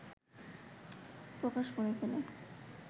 প্রকাশ করে ফেলে